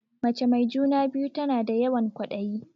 Mace mai juna-biyu tana da yawan ƙwaɗayi.